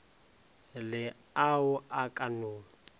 le ao a ka no